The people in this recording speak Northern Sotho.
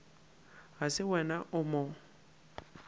ga se wena o mo